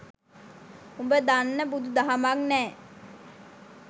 උඹ දන්න බුදු දහමක් නෑ